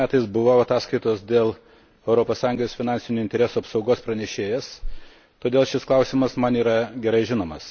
m. buvau ataskaitos dėl Europos Sąjungos finansinių interesų apsaugos pranešėjas, todėl šis klausimas man yra gerai žinomas.